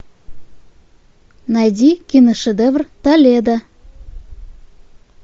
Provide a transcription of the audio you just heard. найди киношедевр толедо